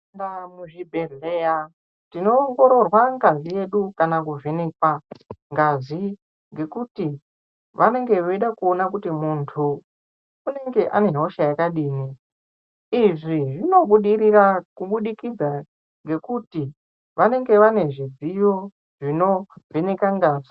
Mu zvibhehlera tino ongororwa ngazi yedu kana ku vhenekwa ngazi ngekuti vanenge veida kuona kuti muntu unenge ane hosha yakadini izvi zvino budirira kubudikidza ngekuti vanenge vane zvidziyo zvino vheneka ngazi.